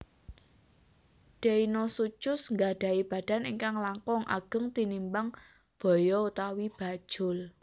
Deinosuchus nggadhahi badan ingkang langkung ageng tinimbang baya utawi bajul